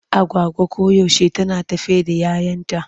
Agwagwa koyaushe tana tafe da 'yayanta.